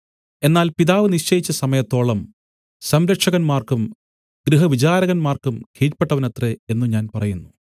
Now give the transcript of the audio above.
എന്നാൽ പിതാവ് നിശ്ചയിച്ച സമയത്തോളം സംരക്ഷകന്മാർക്കും ഗൃഹവിചാരകന്മാർക്കും കീഴ്പെട്ടവനത്രേ എന്നു ഞാൻ പറയുന്നു